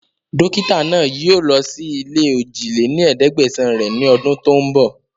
Dókítà náà yii o lọ síí ilé ojì lé ní ẹ̀ẹ́dẹ́gbẹ́sán rẹ ni ọdún tòun bọ̀